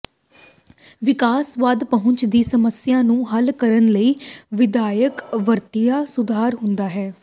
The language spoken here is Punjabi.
ਵਿਕਾਸਵਾਦ ਪਹੁੰਚ ਦੀ ਸਮੱਸਿਆ ਨੂੰ ਹੱਲ ਕਰਨ ਲਈ ਵਿਆਪਕ ਵਰਤਿਆ ਸੁਧਾਰ ਹੁੰਦਾ ਹੈ